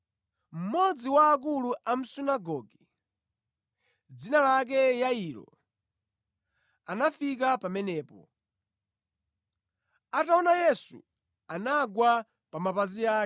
mmodzi wa akulu a mʼsunagoge, dzina lake Yairo anafika pamenepo. Ataona Yesu, anagwa pa mapazi ake,